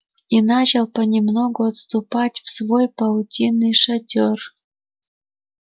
и начал понемногу отступать в свой паутинный шатёр